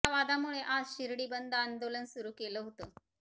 या वादामुळे आज शिर्डी बंद आंदोलन सुरु केलं होतं